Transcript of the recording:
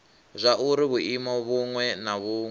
zwauri vhuimo vhuṅwe na vhuṅwe